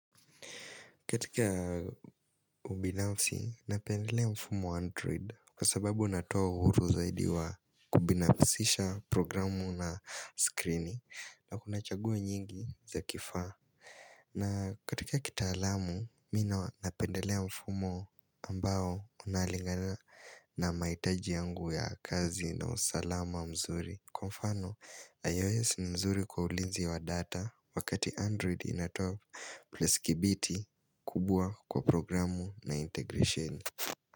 Katika ubinafsi, napendelea mfumo Android kwa sababu unatoa uhuru zaidi wa kubinafsisha programu na screeni na kuna chaguo nyingi za kifaa. Na katika kitaalamu, mi napendelea mfumo ambao unalingana na mahitaji yangu ya kazi na usalama mzuri. Kwa mfano, iOS ni mzuri kwa ulinzi wa data wakati Android inatop plus kibiti kubua kwa programu na integration.